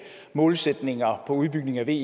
målsætninger for udbygningen af ve